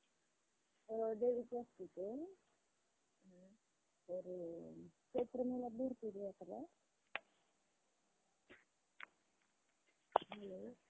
Finance मधून किंवा investment मधून investment केलेल्या पैश्यामधून ते करू शकतात. त्यावर पण ते काही रक्कम ठेऊन त्यावर पण ते कर्ज interest भेटतो. त्याला त्यातून पण त्यांच्या business ला जास्त फायदा होतो.